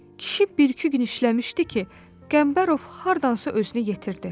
Kişi bir-iki gün işləmişdi ki, Qəmbərov hardansa özünü yetirdi.